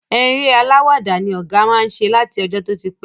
Eré alàwàdá ni ọ̀gá má ń ṣe láti ọjọ́ tó ti pẹ́